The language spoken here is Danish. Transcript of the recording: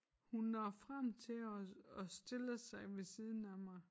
Hun når frem til os og stiller sig ved siden af mig